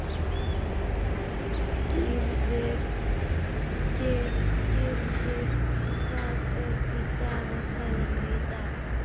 Gyrðir, hvað er í dagatalinu í dag?